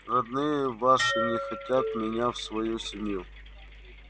родные ваши не хотят меня в свою семью